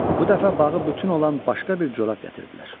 Bu dəfə bağı bütün olan başqa bir corab gətirdilər.